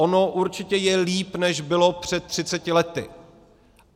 Ono určitě je líp, než bylo před 30 lety.